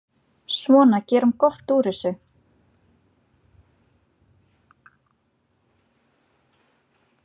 Svona, gerum gott úr þessu.